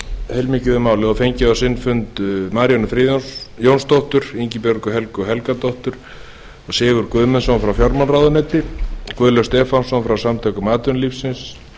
heilmikið um málið og fengið á sinn fund maríönnu jónasdóttur ingibjörgu helgu helgadóttur og sigurð guðmundsson frá fjármálaráðuneyti guðlaug stefánsson frá samtökum atvinnulífsins